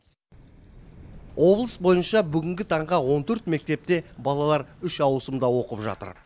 облыс бойынша бүгінгі таңға он төрт мектепте балалар үш ауысымда оқып жатыр